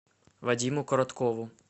вадиму короткову